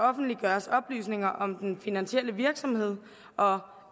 offentliggøres oplysninger om den finansielle virksomhed og